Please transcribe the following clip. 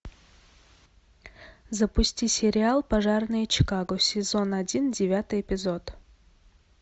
запусти сериал пожарные чикаго сезон один девятый эпизод